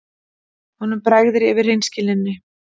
Honum bregður yfir hreinskilninni.